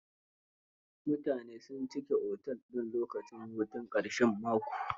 Mutane sun cika otel din lokacin hutun ƙarshen mako.